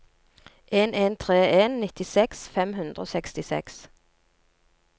en en tre en nittiseks fem hundre og sekstiseks